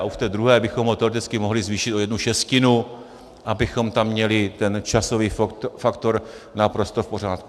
A v té druhé bychom ho teoreticky mohli zvýšit o jednu šestinu, abychom tam měli ten časový faktor naprosto v pořádku.